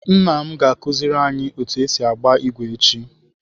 Nna m ga akụziri anyi otu esi agba igwe echi.